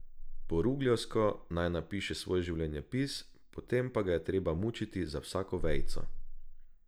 Po rugljevsko naj napiše svoj življenjepis, potem pa ga je treba mučiti za vsako vejico.